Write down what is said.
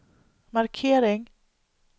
markering